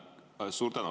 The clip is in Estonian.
Suur tänu!